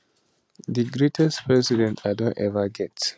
di greatest president i don ever get